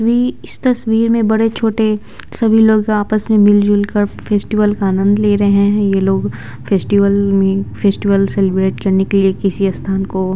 we इस तस्वीर में बड़े-छोटे सभी लोग आपस में मिलजुल कर फेस्टिवल का आनंद ले रहे हैं ये लोग फेस्टिवल में फेस्टिवल सेलिब्रेट करने के लिए किसी स्थान को --